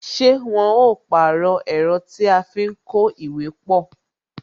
Ṣé wọn ó pàrọ̀ ẹ̀rọ tí a fi ń kó ìwé pọ?